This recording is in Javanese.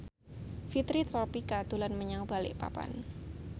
Fitri Tropika dolan menyang Balikpapan